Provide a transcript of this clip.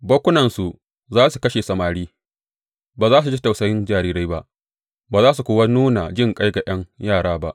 Bakkunansu za su kashe samari; ba za su ji tausayin jarirai ba ba za su kuwa nuna jinƙai ga ’yan yara ba.